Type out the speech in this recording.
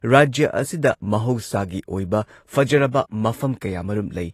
ꯔꯥꯖ꯭ꯌ ꯑꯁꯤꯗ ꯃꯍꯧꯁꯥꯒꯤ ꯑꯣꯏꯕ ꯐꯖꯔꯕ ꯃꯐꯝ ꯀꯌꯥꯃꯔꯨꯝ ꯂꯩ ꯫